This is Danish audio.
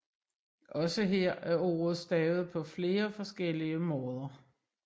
Også her er ordet stavet på flere forskellige måder